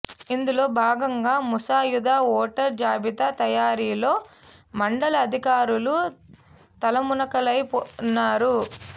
ఇందులో భాగంగా ముసాయిదా ఓటర్ జాబితా తయారీలో మండ ల అధికారులు తలమునకలై ఉన్నారు